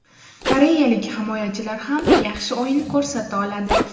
Koreyalik himoyachilar ham yaxshi o‘yin ko‘rsata oladi”.